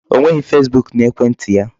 O nweghị Facebook n'ekwentị ya.